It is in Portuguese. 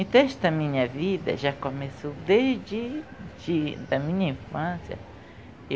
Então, esta minha vida já começou desde, de, da minha infância.